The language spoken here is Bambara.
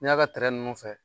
N'i y'a ka tɛrɛn ninnu fɛ